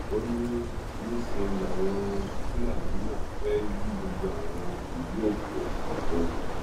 ó ní níṣẹ làwọn fúlàní náà fẹ́ yí gbogbo àwọn ìlú òkè ògùn po